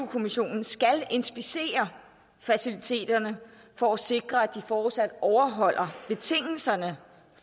kommissionen skal inspicere faciliteterne for at sikre at de fortsat overholder betingelserne